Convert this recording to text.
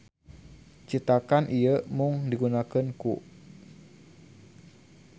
Citakan ieu mung digunakeun ku.